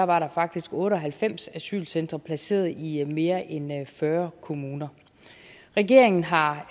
var der faktisk otte og halvfems asylcentre placeret i mere end fyrre kommuner regeringen har